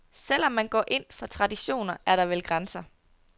Selv om man går ind for traditioner, er der vel grænser.